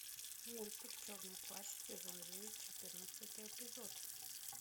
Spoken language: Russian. мультик черный плащ сезон девять четырнадцатый эпизод